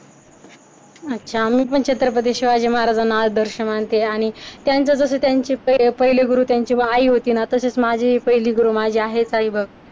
अच्छा मी पण छत्रपती शिवाजी महाराजांना आदर्श मानते आणि त्यांचा जस त्यांची पहिले गुरू त्यांच्या आई होती ना तशी माझी गुरु माझी पहिली गुरु माझी आहे माझे आई बघ.